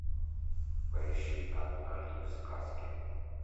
поищи однажды в сказке